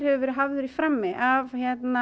hefur verið hafður í frammi af